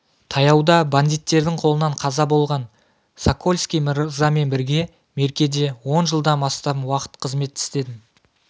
таяуда бандиттердің қолынан қаза болған сокольский мырзамен бірге меркеде он жылдан астам уақыт қызмет істедім